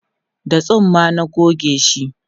da tsumma na gogeshi